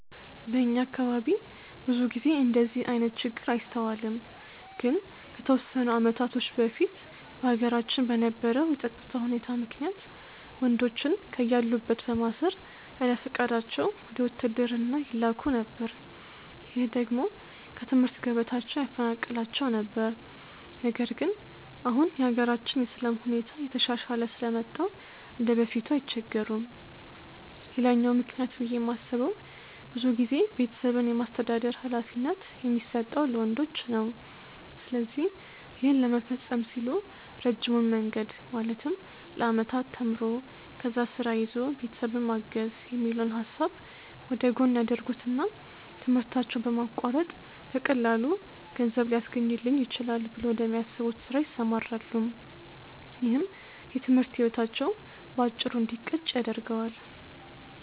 በእኛ አካባቢ ብዙ ጊዜ እንደዚህ አይነት ችግር አይስተዋልም። ግን ከተወሰኑ አመታቶች በፊት በሀገራችን በነበረው የፀጥታ ሁኔታ ምክንያት ወንዶችን ከያሉበት በማሰር ያለፍቃዳቸው ወደ ውትድርና ይላኩ ነበር። ይህ ደግሞ ከትምህርት ገበታቸው ያፈናቅላቸው ነበር። ነገር ግን አሁን የሀገራችን የሰላም ሁኔታ እየተሻሻለ ስለመጣ እንደበፊቱ አይቸገሩም። ሌላኛው ምክንያት ብዬ የማስበው ብዙ ጊዜ ቤተሰብን የማስተዳደር ሀላፊነት የሚሰጠው ለወንዶች ነው። ስለዚህ ይህን ለመፈፀም ሲሉ ረጅሙን መንገድ ማለትም ለአመታት ተምሮ፣ ከዛ ስራ ይዞ ቤተሰብን ማገዝ የሚለውን ሀሳብ ወደጎን ያደርጉትና ትምህርታቸውን በማቋረጥ በቀላሉ ገንዘብ ሊያስገኝልኝ ይችላል ብለው ወደሚያስቡት ስራ ይሰማራሉ። ይህም የትምህርት ህይወታቸው በአጭሩ እንዲቀጭ ያደርገዋል።